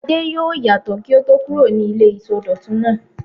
Adé yóò yàtọ̀ kí ó tó kúrò ní ilé ìsọdọ̀tun náà.